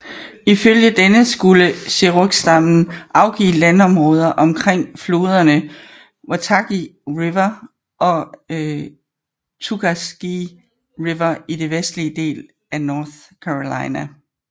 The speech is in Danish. Ifølge denne skulle cherokserstammen afgive landområder omkring floderne Watauga River og Tuckasegee River i den vestlige del af North Carolina